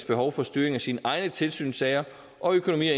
behov for styring af sine egne tilsynssager og økonomi og